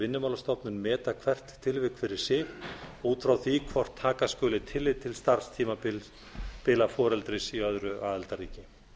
vinnumálastofnun meta hvert tilvik fyrir að út frá því hvort taka skuli tillit til starfstímabila foreldris í öðru aðildarríki